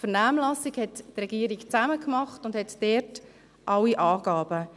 die Vernehmlassung machte die Regierung zusammen und hat dort alle Angaben.